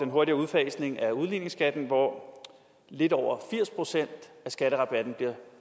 hurtigere udfasning af udligningsskatten hvor lidt over firs procent af skatterabatten bliver